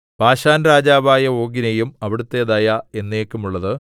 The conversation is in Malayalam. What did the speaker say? ബാശാൻരാജാവായ ഓഗിനെയും അവിടുത്തെ ദയ എന്നേക്കുമുള്ളത്